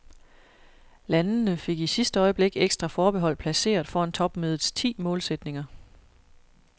Landene fik i sidste øjeblik ekstra forbehold placeret foran topmødets ti målsætninger.